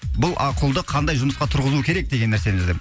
бұл а құлды қандай жұмысқа тұрғызу керек деген нәрсені іздеп